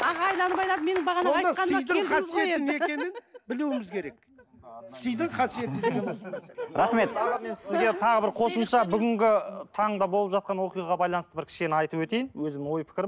аға мен сізге тағы бір қосымша бүгінгі таңда болып жатқан оқиғаға байланысты бір кішкене айтып өтейін өзім ой пікірім